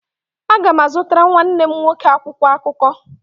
Aga m azụtara nwanne m nwoke akwụkwọ akụkọ